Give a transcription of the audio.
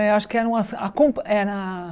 Eh acho que era as a compa... Era.